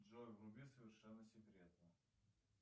джой вруби совершенно секретно